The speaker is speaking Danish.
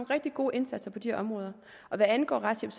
rigtig gode indsatser på de områder hvad angår retshjælp